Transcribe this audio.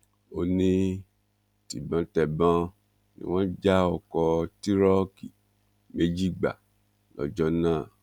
ó ní tibọntẹbọn ni wọn já ọkọ tìróòkì méjì gbà lọjọ náà